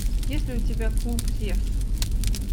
есть ли у тебя клуб зевс